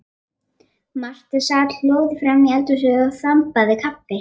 Marta sat hljóð framí eldhúsi og þambaði kaffi.